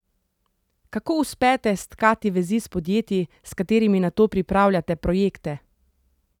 Kako uspete stkati vezi s podjetji, s katerimi nato pripravljate projekte?